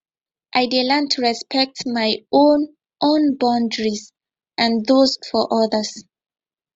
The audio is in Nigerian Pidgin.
i dey learn to respect my own own boundaries and those of others